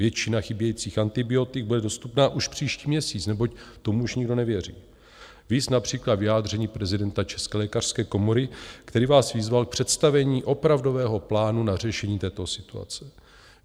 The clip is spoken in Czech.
Většina chybějících antibiotik bude dostupná už příští měsíc, neboť tomu už nikdo nevěří, viz například vyjádření prezidenta České lékařské komory, který vás vyzval k představení opravdového plánu na řešení této situace.